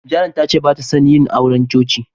Janet tace batason yina auren cuci.